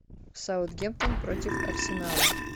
саутгемптон против арсенала